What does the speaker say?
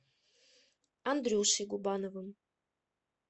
андрюшей губановым